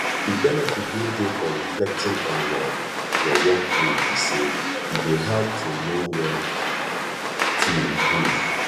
di benefit wey dey for reflecting on your your workday be say e dey help to know where to improve